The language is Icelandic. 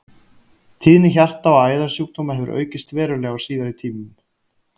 Tíðni hjarta- og æðasjúkdóma hefur aukist verulega á síðari tímum.